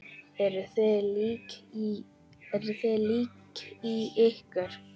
Eruð þið lík í ykkur?